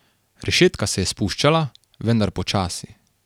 Rešetka se je spuščala, vendar počasi.